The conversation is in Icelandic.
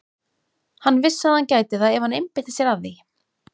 Hann vissi að hann gæti það ef hann einbeitti sér að því.